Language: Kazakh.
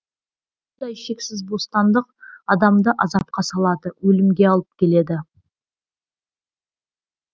мұндай шексіз бостандық адамды азапқа салады өлімге алып келеді